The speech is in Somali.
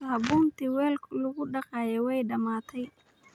Saabuuntii weelku lagu daqaye way dhammaatay.